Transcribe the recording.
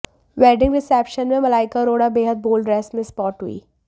wedding reception में मलाइका अरोड़ा बेहद bold dress में स्पॉट हुई